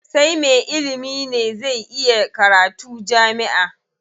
Sai me ilimi ne zai iya karatu jami'a.